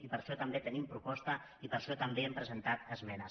i per a això també tenim proposta i per això també hi hem presentat esmenes